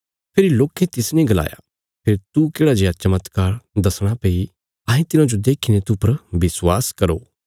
फेरी लोकें तिसने गलाया फेरी तू केढ़ा जेआ चमत्कार दसणा भई अहें तिन्हांजो देखीने तूह पर विश्वास करो